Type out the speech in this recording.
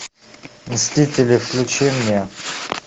мстители включи мне